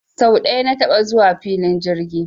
Sau ɗaya na taɓa zuwa filin jirgi